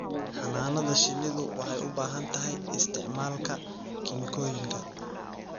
Xannaanada shinnidu waxay u baahan tahay isticmaalka kiimikooyinka.